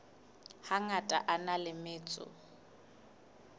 hangata a na le metso